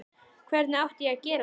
Hvenær átti ég að gera það?